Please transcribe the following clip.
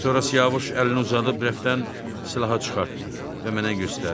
Sonra Siyavuş əlini uzadıb rəfdən silaha çıxartdı və mənə göstərdi.